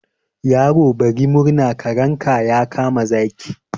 Yaro bari murna, karenka ya kama zaki.